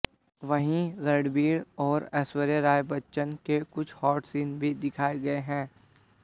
वहीं रणबीर और ऐश्वर्या राय बच्चन के कुछ हॉट सीन भी दिखाए गए हैँ